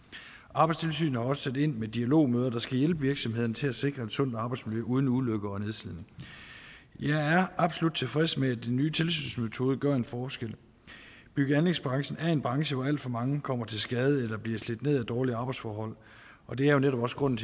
arbejdstilsynet har også sat ind med dialogmøder der skal hjælpe virksomhederne til at sikre et sundt arbejdsmiljø uden ulykker og nedslidning jeg er absolut tilfreds med at den nye tilsynsmetode gøre en forskel bygge og anlægsbranchen er en branche hvor alt for mange kommer til skade eller bliver slidt ned af dårlige arbejdsforhold og det er jo netop også grunden